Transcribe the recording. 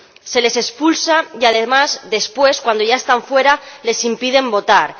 Se les expulsa y, además, después, cuando ya están fuera, se les impide votar.